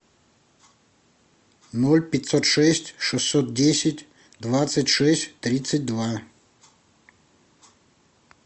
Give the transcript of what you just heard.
ноль пятьсот шесть шестьсот десять двадцать шесть тридцать два